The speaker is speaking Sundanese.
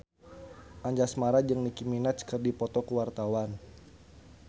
Anjasmara jeung Nicky Minaj keur dipoto ku wartawan